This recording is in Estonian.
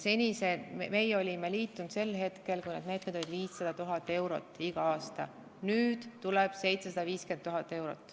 Meie liitusime sel hetkel, kui need meetmed olid 500 000 eurot iga aasta, nüüd tuleb 750 000 eurot.